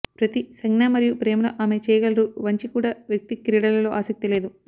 ప్రతి సంజ్ఞ మరియు ప్రేమలో ఆమె చేయగలరు వంచి కూడా వ్యక్తి క్రీడలలో ఆసక్తి లేదు